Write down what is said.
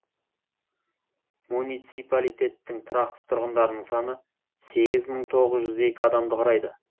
муниципалитеттің тұрақты тұрғындарының саны сегіз мың тоғыз жүз екі адамды құрайды